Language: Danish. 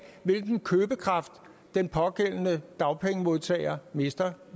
hvilken købekraft den pågældende dagpengemodtager mister